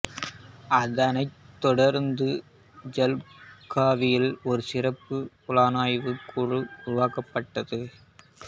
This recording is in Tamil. அதனைத் தொடர்ந்து ஜள்காவில் ஒரு சிறப்பு புலனாய்வுக் குழு உருவாக்கப்பட்டது